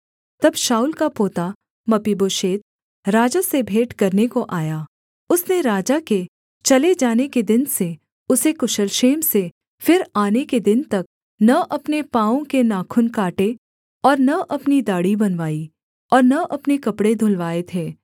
तब शाऊल का पोता मपीबोशेत राजा से भेंट करने को आया उसने राजा के चले जाने के दिन से उसके कुशल क्षेम से फिर आने के दिन तक न अपने पाँवों के नाखून काटे और न अपनी दाढ़ी बनवाई और न अपने कपड़े धुलवाए थे